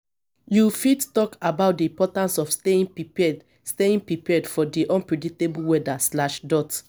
you fit talk about di importance of staying prepared staying prepared for di unpredictable weather.